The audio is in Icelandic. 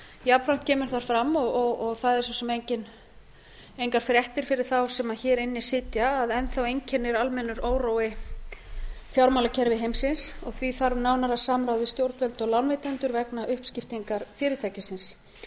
jafnframt kemur þar fram og það er svo sem engar fréttir fyrir þá sem hér inni sitja að enn þá einkennir almennur órói fjármálakerfi heimsins því þarf nánara samráð við stjórnvöld og lánveitendur vegna uppskiptingar fyrirtækisins